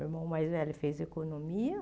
Meu irmão mais velho fez economia.